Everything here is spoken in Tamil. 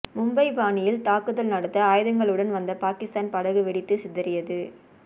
மும்பை பாணியில் தாக்குதல் நடத்த ஆயுதங்களுடன் வந்த பாகிஸ்தான் படகு வெடித்து சிதறியது